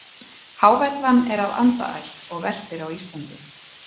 Hávellan er af andaætt og verpir á Íslandi.